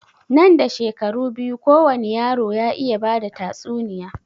Nan da shekaru biyu kowani yaro ya iya bada tatsuniya